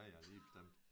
Ja ja lige bestemt